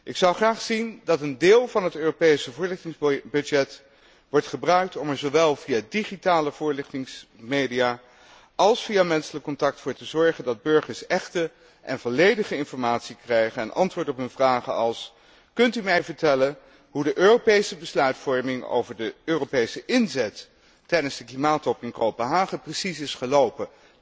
Ik zou graag zien dat een deel van het Europese voorlichtingsbudget wordt gebruikt om er zowel via digitale voorlichtingsmedia als via menselijk contact voor te zorgen dat burgers echte en volledige informatie krijgen en antwoord op hun vragen als Kunt u mij vertellen hoe de Europese besluitvorming over de Europese inzet tijdens de klimaattop in Kopenhagen precies is gelopen?